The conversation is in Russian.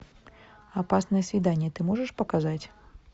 опасное свидание ты можешь показать